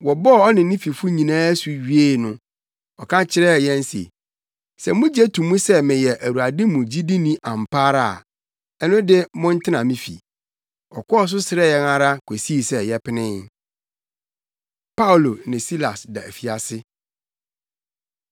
Wɔbɔɔ ɔne ne fifo nyinaa asu wiee no, ɔka kyerɛɛ yɛn se, “Sɛ mugye to mu sɛ meyɛ Awurade mu gyidini ampa ara a, ɛno de mommɛtena me fi.” Ɔkɔɔ so srɛɛ yɛn ara kosii sɛ yɛpenee. Paulo Ne Silas Da Afiase